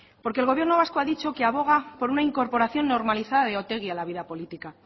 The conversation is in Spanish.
porque el gobierno vasco ha dicho que aboga por una incorporación normalizada de otegi a la vida política